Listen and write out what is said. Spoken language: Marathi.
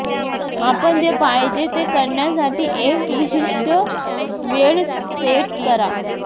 आपण जे पाहिजे ते करण्यासाठी एक विशिष्ट वेळ सेट करा